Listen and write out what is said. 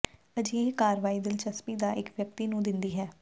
ਅਜਿਹੇ ਕਾਰਵਾਈ ਦਿਲਚਸਪੀ ਦਾ ਇੱਕ ਵਿਅਕਤੀ ਨੂੰ ਦਿੰਦੀ ਹੈ